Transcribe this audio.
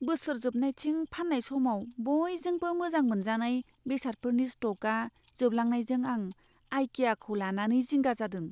बोसोर जोबनायथिं फान्नाय समाव बयजोंबो मोजां मोनजानाय बेसादफोरनि स्ट'कआ जोबलांनायजों आं आइकियाखौ लानानै जिंगा जादों।